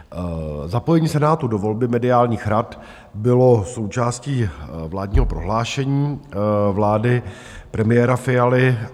Zapojení Senátu do volby mediálních rad bylo součástí vládního prohlášení vlády premiéra Fialy.